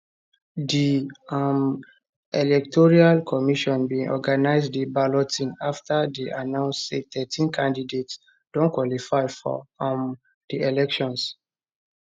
di um electoral commission bin organize di balloting afta dey announce say thirteen candidates don qualify for um di elections